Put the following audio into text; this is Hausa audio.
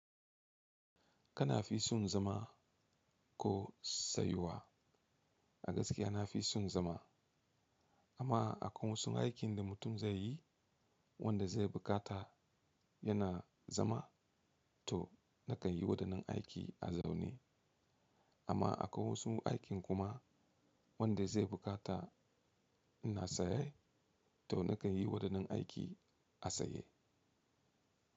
Kana fisun zama ko sayuwa? A gaskiya na fisun zama amma akwai wasu aikin da mutum zai yi wanda zai buƙata yana zama to nakan yi waɗannan aiki a zaune. Amma akwai wasu aikin kuma wanda zai buƙata ina saye to nakan yi waɗannan aiki a saye.